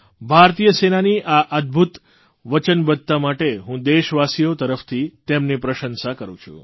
ભારતીય સેનાની આ અદભૂત વચનબદ્ધતા માટે હું દેશવાસીઓ તરફથી તેમની પ્રશંસા કરૂં છું